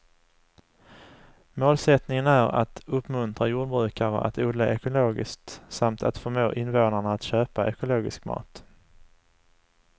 Målsättningen är att uppmuntra jordbrukare att odla ekologiskt samt att förmå invånarna att köpa ekologisk mat.